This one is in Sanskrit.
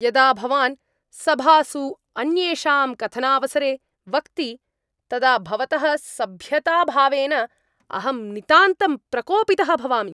यदा भवान् सभासु अन्येषां कथनावसरे वक्ति तदा भवतः सभ्यताभावेन अहं नितान्तं प्रकोपितः भवामि।